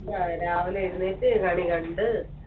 അഹ് രാവിലെ എഴുന്നേറ്റ് കണി കണ്ട്